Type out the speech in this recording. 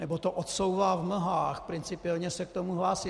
Nebo to odsouvá v mlhách, principiálně se k tomu hlásí.